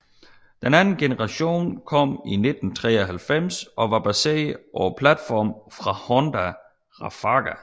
Anden generation kom i 1993 og var baseret på platformen fra Honda Rafaga